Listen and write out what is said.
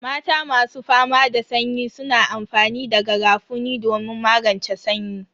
Mata masu fama da sanyi suna amfani da garafuni domin magance sanyi.